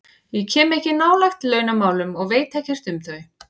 Ég kem ekkert nálægt launamálum og veit ekkert um þau.